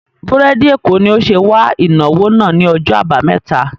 Búrèdì Èkó ni ó ṣe wà ìnáwó náà ni ọjọ́ àbámẹ́ta